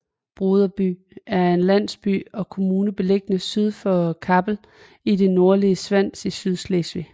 Brodersby er en landsby og kommune beliggende syd for Kappel i det nordlige Svans i Sydslesvig